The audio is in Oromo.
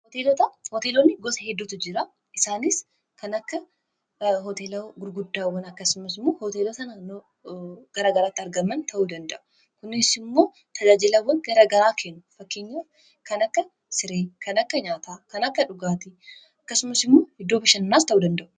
hooteelonni gosa hidootu jira isaaniis kanakka hoteela gurguddaawan akkasumasmu hoteela tana garagaraatti argaman ta'uu danda'u kunis immoo tajaajilawwan garagaraa keenu fakkinya kan akka sirii kan akka nyaataa kan akka dhugaatii akkasumas immoo hiddoo bishannaas ta'uu danda'u